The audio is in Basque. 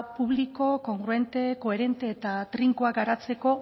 publiko kongruente koherente eta trinkoa garatzeko